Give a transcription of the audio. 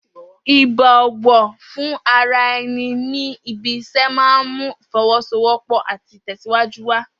Ìbò̩wò̩ fún ara e̩ni ní ibi is̩é̩ máa ń mú ìfo̩wó̩sowó̩pò̩ àti ìtè̩síwájú wà